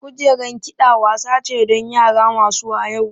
Kujerar kiɗa wasa ce don yara masu wayau.